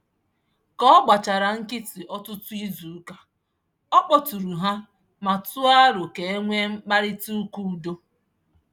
Ka ọ gbachara nkịtị ọtụtụ izuụka ọ kpọtụụrụ ha ma tụọ arọ ka e nwee mkparịtaụka udo.